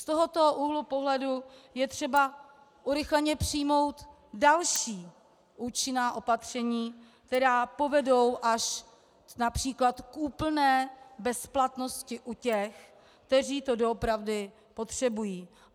Z tohoto úhlu pohledu je třeba urychleně přijmout další účinná opatření, která povedou až například k úplné bezplatnosti u těch, kteří to doopravdy potřebují.